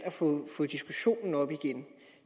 at få diskussionen op igen